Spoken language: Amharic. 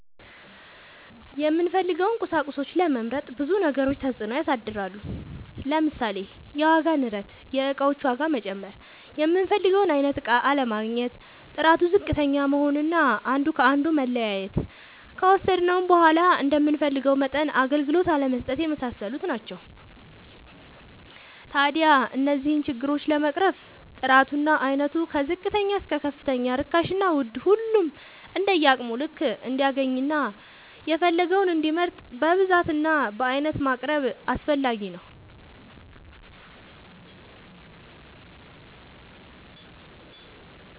የምንፈልገውን ቁሳቁሶች ለመምረጥ ብዙ ነገሮች ተፅእኖ ያሳድራሉ። ለምሳሌ፦ የዋጋ ንረት(የእቃዎች ዋጋ መጨመር)፣ የምንፈልገውን አይነት እቃ አለማግኘት፣ ጥራቱ ዝቅተኛ መሆን አና አንዱ ከአንዱ መለያየት፣ ከወሰድነውም በዃላ እንደምንፈልገው መጠን አገልግሎት አለመስጠት የመሳሰሉት ናቸው። ታዲያ እነዚህን ችግሮች ለመቅረፍ ጥራቱ እና አይነቱ ከዝቅተኛ እስከ ከፍተኛ ርካሽና ውድ ሁሉም እንደየአቅሙ ልክ እንዲያገኝና የፈለገውን እንዲመርጥ በብዛት እና በአይነት ማቅረብ አስፈላጊ ነው።